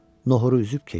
Noxuru üzüb keçdi.